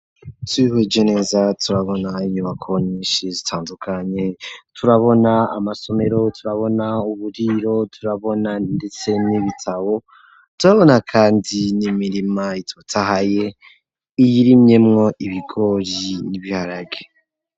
Twihweje neza turabona ,inyubako nyinshi zitandukanye ,turabona amasomero ,turabona uburiro turabona ndetse n'ibitabo ,turabona kandi nimirima itotahaye iyirimyemwo ibigori n'ibiharage.